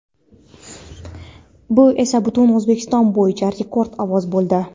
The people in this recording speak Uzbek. Bu esa butun O‘zbekiston bo‘yicha rekord ovoz bo‘ldi.